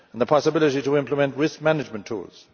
the possibility to implement risk management tools